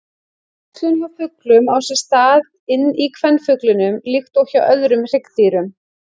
Æxlun hjá fuglum á sér stað inni í kvenfuglinum líkt og hjá öðrum hryggdýrum.